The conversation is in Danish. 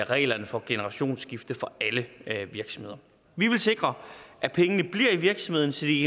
reglerne for generationsskifte for alle virksomheder vi vil sikre at pengene bliver i virksomheden så de